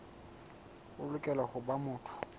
o lokela ho ba motho